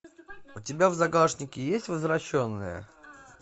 у тебя в загашнике есть возвращенные